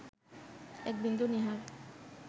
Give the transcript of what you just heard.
একবিন্দু নীহার